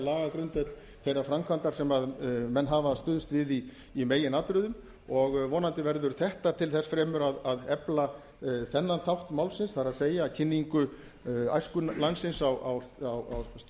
styrkja lagagrundvöll þeirra framkvæmda sem menn hafa stuðst við í meginatriðum og vonandi verður þetta til þess fremur að efla þennan þátt málsins það er kynning æsku landsins á